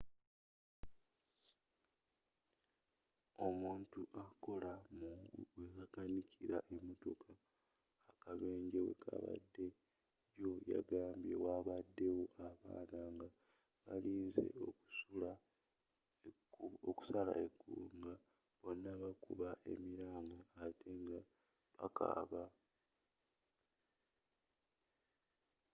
omuntu akola mu webakanikiramotoka akabenje wekabadde jjo yagambye: wabadde wo abaana nga balinze okusala ekkubo nga bonna bakuba emiranga atte nga bakaaba.